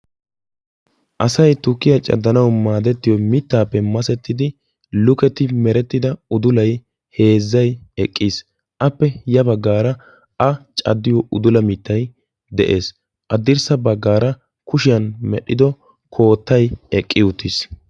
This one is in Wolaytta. Asay tukkiyaa caddanau maadettiyo mittaappe masettidi luketi merettida udulai heezzai eqqiis appe ya baggaara a caddiyo udula mittai de'ees. Haddirssa baggaara kushiyan medhdhido koottay eqqi uttiis.